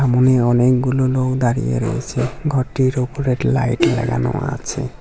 অনেকগুলো লোক দাঁড়িয়ে রয়েছে ঘরটির ওপরে লাইট লাগানো আছে।